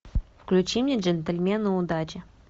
включи мне джентльмены удачи